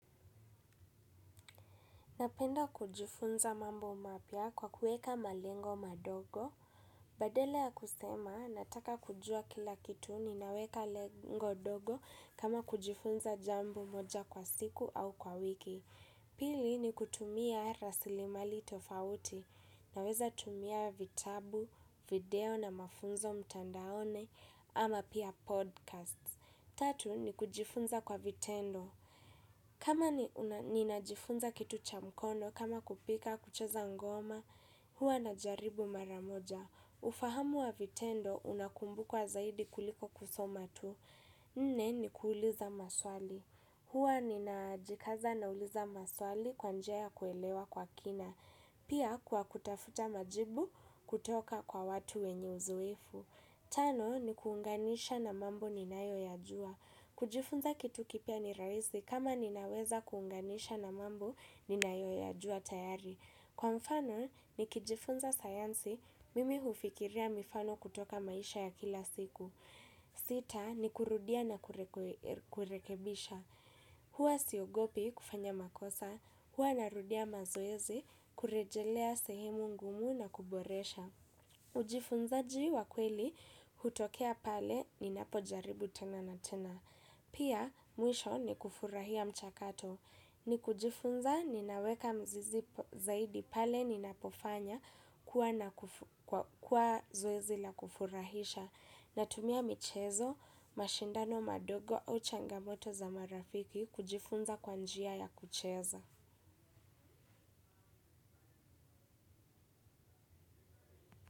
Napenda kujifunza mambo mapya kwa kuweka malengo madogo. Badala ya kusema, nataka kujua kila kitu ninaweka lengo dogo kama kujifunza jambo moja kwa siku au kwa wiki. Pili ni kutumia rasilimali tofauti. Naweza tumia vitabu, video na mafunzo mtandaoni ama pia 'podcasts'. Tatu ni kujifunza kwa vitendo. Kama ninajifunza kitu cha mkono, kama kupika, kucheza ngoma, huwa najaribu mara moja. Ufahamu wa vitendo, unakumbukwa zaidi kuliko kusoma tu. Nne ni kuuliza maswali. Huwa ninajikaza nauliza maswali kwa njia ya kuelewa kwa kina. Pia kwa kutafuta majibu kutoka kwa watu wenye uzoefu. Tano ni kuunganisha na mambo ninayoyajua. Kujifunza kitu kipya ni rahisi kama ninaweza kuunganisha na mambo ninayoyajua tayari. Kwa mfano, nikijifunza sayansi, mimi hufikiria mifano kutoka maisha ya kila siku. Sita, nikurudia na kurekebisha. Huwa siogopi kufanya makosa, huwa narudia mazoezi, kurejelea sehemu ngumu na kuboresha. Ujifunzaji wa kweli hutokea pale ninapojaribu tena na tena. Pia mwisho ni kufurahia mchakato. Ni kujifunza ninaweka mzizi zaidi pale ninapofanya kuwa zoezi la kufurahisha, natumia michezo mashindano madogo au changamoto za marafiki kujifunza kwa njia ya kucheza.